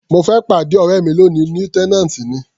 Mo fẹ́ pàdé ọ̀rẹ́ mi lóni, lieutenant ni.